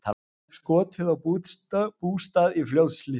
Skotið á bústað í Fljótshlíð